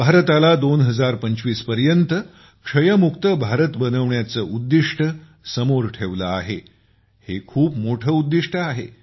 भारताला 2025 पर्यंत क्षयमुक्त भारत बनविण्याचे लक्ष्य समोर ठेवले आहे लक्ष्य खूप मोठे आहे